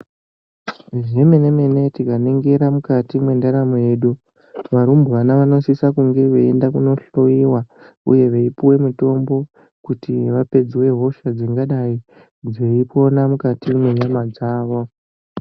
Zvemenemene Tikaningira mukati mwendaramo yedu, varumbwana vanosisa kunge veienda kunohloiwa veipuwe mitombo kuti vapedzwe hosha dzingadai dzeipona mukati mwenyama dzavo.